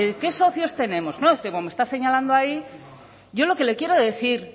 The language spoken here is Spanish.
qué socios tenemos no es que como está señalando ahí yo lo que le quiero decir